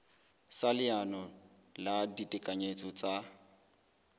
sa leano la ditekanyetso tsa